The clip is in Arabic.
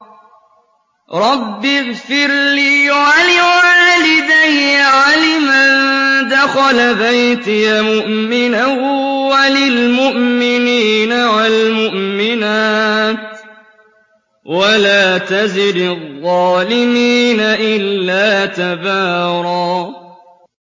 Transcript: رَّبِّ اغْفِرْ لِي وَلِوَالِدَيَّ وَلِمَن دَخَلَ بَيْتِيَ مُؤْمِنًا وَلِلْمُؤْمِنِينَ وَالْمُؤْمِنَاتِ وَلَا تَزِدِ الظَّالِمِينَ إِلَّا تَبَارًا